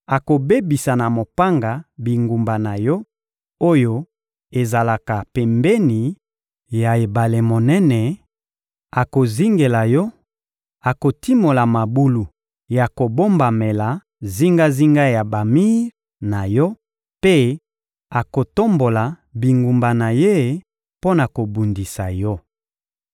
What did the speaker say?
akobebisa na mopanga bingumba na yo, oyo ezalaka pembeni ya ebale monene, akozingela yo, akotimola mabulu ya kobombamela zingazinga ya bamir na yo mpe akotombola banguba na ye mpo na kobundisa yo.